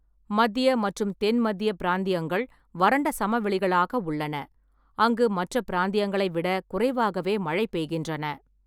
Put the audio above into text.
மத்திய மற்றும் தென் மத்திய பிராந்தியங்கள் வறண்ட சமவெளிகளாக உள்ளன, அங்கு மற்ற பிராந்தியங்களை விட குறைவாகவே மழை பெய்கின்றன.